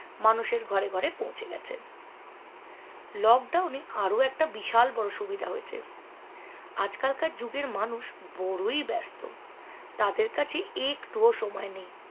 মানুষের ঘরে ঘরে পৌঁছে গেছে lockdown এ আরও একটা বিশাল বড়ো সুবিধা হয়েছে আজকালকার যুগের মানুষ বড়োই ব্যাস্ত তাদের কাছে একটুও সময় নেই